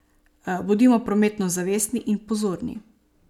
Bodimo prometno zavestni in pozorni.